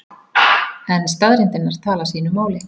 En staðreyndirnar tala sínu máli.